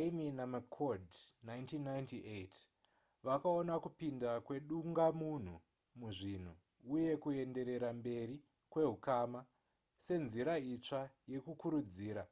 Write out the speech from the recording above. eighmey namccord 1998 vakaona kupinda kwedungamunhu muzvinhu uye kuenderera mberi kwehukama senzira itsva yekukurudzira